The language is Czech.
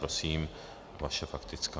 Prosím, vaše faktická.